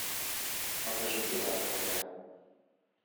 покажи белая королева